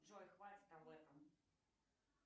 джой хватит об этом